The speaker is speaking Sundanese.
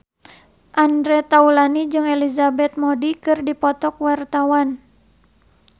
Andre Taulany jeung Elizabeth Moody keur dipoto ku wartawan